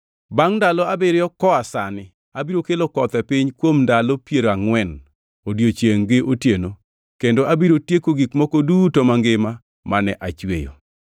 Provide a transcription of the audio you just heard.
Bangʼ ndalo abiriyo koa sani abiro kelo koth e piny kuom ndalo piero angʼwen odiechiengʼ gi otieno, kendo abiro tieko gik moko duto mangima mane achweyo.”